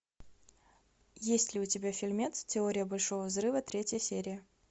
есть ли у тебя фильмец теория большого взрыва третья серия